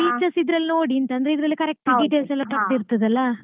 features ಇದ್ರಲ್ಲಿ ನೋಡಿ ಅಂತಂದ್ರೆ correct details ಎಲ್ಲ ಕೊಟ್ಟಿರ್ತದಲ್ಲ.